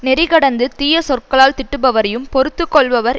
நெறி கடந்து தீய சொற்களால் திட்டுபவரையும் பொறுத்து கொள்பவர்